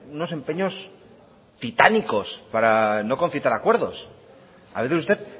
unos empeños titánicospara no concitar acuerdos a veces usted